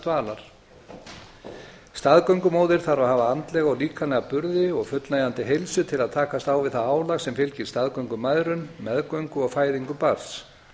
dvalar staðgöngumóðir þarf að hafa andlega og líkamlega burði og fullnægjandi heilsu til að takast á við það álag sem fylgir staðgöngumæðrun meðgöngu og fæðingu barns